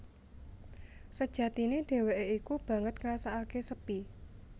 Sejatine dhéwéké iku banget ngrasakaké sepi